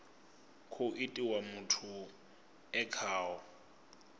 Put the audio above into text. khou itiwa muthu e khaho